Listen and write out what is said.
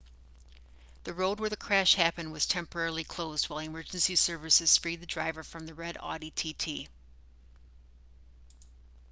the road where the crash happened was temporarily closed while emergency services freed the driver from the red audi tt